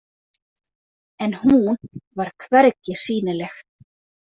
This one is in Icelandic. En hún var hvergi sýnileg.